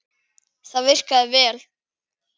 Það virkaði vel.